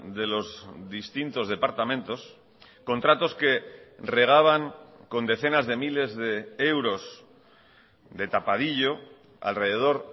de los distintos departamentos contratos que regaban con decenas de miles de euros de tapadillo alrededor